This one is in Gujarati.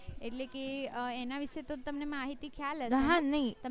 એટલે કે અ એના વિષે તો તમને માહિતી ખ્યાલ હયશે તમે